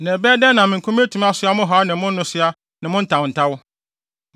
Na ɛbɛyɛ dɛn na me nko metumi asoa mo haw ne mo nnesoa ne mo ntawntaw?